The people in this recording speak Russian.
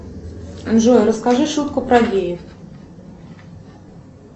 джой расскажи шутку про геев